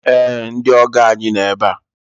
Ee! Ndị ọgọ ànyị no ebe a.